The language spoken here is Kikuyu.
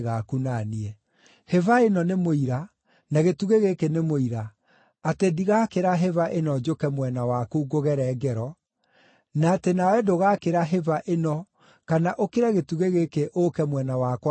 Hĩba ĩno nĩ mũira, na gĩtugĩ gĩkĩ nĩ mũira, atĩ ndigakĩra hĩba ĩno njũke mwena waku ngũgere ngero, na atĩ nawe ndũgakĩra hĩba ĩno, kana ũkĩre gĩtugĩ gĩkĩ ũũke mwena wakwa ũngere ngero.